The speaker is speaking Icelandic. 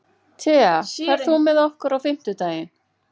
Thea, ferð þú með okkur á fimmtudaginn?